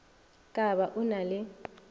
ka ba o na le